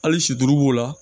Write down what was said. Hali sido b'o la